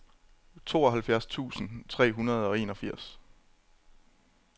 tooghalvfjerds tusind tre hundrede og enogfirs